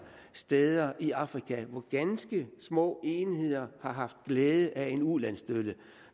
steder i afrika hvor ganske små enheder har haft glæde af en ulandsstøtte